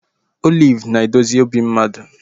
Oliv na-edozi obi mmadụ